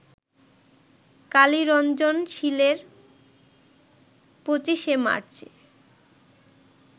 কালী রঞ্জন শীলের পঁচিশে মার্চে